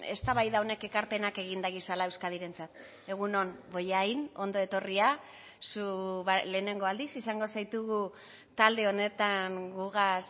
eztabaida honek ekarpenak egin dagizala euskadirentzat egun on bollain ondo etorria zu lehenengo aldiz izango zaitugu talde honetan gugaz